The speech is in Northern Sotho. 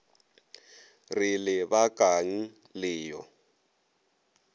re le bakang le yo